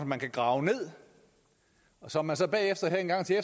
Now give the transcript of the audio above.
man kan grave ned og som man så bagefter her engang til